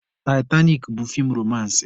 Taịtanik bụ feem romansị